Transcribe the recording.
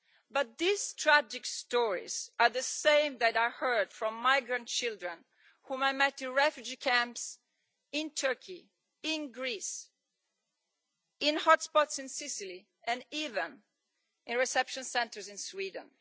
But these tragic stories are the same that are heard from migrant children whom I met in refugee camps in Turkey, in Greece, in hotspots in Sicily, and even in reception centres in Sweden.